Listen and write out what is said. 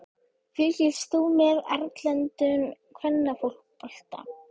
Fylgist þú með erlendum kvennafótbolta?